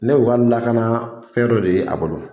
Ne y'o ka lakana fɛn dɔ de ye a bolo